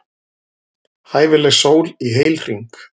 Hæfileg sól í heilhring.